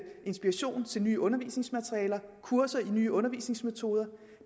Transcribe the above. inspiration til nye undervisningsmaterialer og kurser i nye undervisningsmetoder